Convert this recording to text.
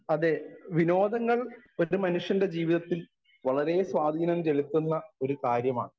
Speaker 1 അതേ വിനോദങ്ങൾ ഒരു മനുഷ്യൻ്റെ ജീവിതത്തിൽ വളരെ സ്വാധീനം ചെലുത്തുന്ന ഒരു കാര്യമാണ്.